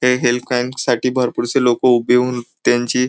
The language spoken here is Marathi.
हे हेल्थ कॅम्प साठी भरपूर से लोक उभे होऊन त्यांची--